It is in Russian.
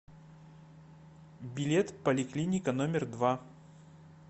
билет поликлиника номер два